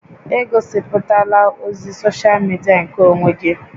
Egosiputala ozi soshal midia nkeonwe gị!